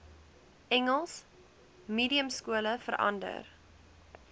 engels mediumskole verander